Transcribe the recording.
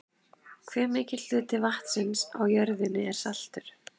hve mikill hluti vatnsins á jörðinni er saltur